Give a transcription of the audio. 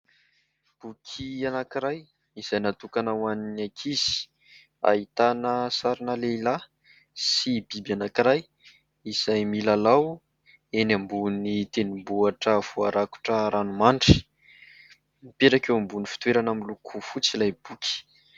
Boky anankiray izay natokana ho an'ny ankizy. Ahitana sarina lehilahy sy biby anankiray izay milalao eny ambony tendrombohitra voarakotra ranomandry. Mipetraka eo ambony fitoerana miloko fotsy ilay boky.